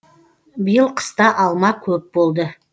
биыл қыста алма көп болды